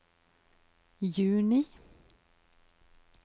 juni